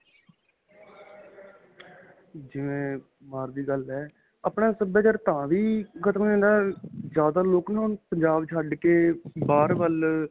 ਜਿਵੇਂ ਬਾਹਰ ਦੀ ਗੱਲ ਹੈ. ਆਪਣਾ ਸਭਿਆਚਾਰ ਤਾਂ ਵੀ ਖ਼ਤਮ ਹੋ ਜਾਂਦਾ ਜਿਆਦਾ ਲੋਕ ਨਾ ਹੁਣ ਪੰਜਾਬ ਛੱਡਕੇ ਬਾਹਰ ਵੱਲ.